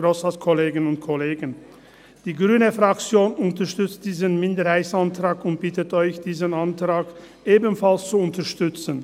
Die Fraktion Grüne unterstützt diesen Minderheitsantrag und bittet Sie, diesen Antrag ebenfalls zu unterstützen.